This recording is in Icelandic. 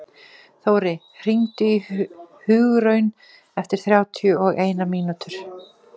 Þóri, hringdu í Hugraun eftir þrjátíu og eina mínútur.